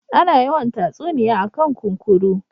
Ana yawan tsatsuniya a kan kunkuru